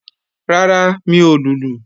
Rárá, mi ò lùlù